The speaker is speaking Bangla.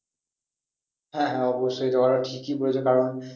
হ্যাঁ অবশ্যই এই কথাটা ঠিকই বলেছো কারণ